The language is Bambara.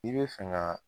I bɛ fɛ ka